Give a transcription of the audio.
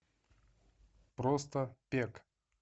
просто пек